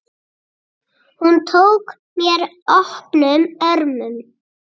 Hún tók mér opnum örmum.